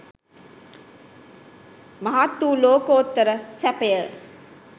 මහත්වූ ලෝකෝත්තර සැපය